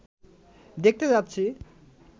দেখতে যাচ্ছি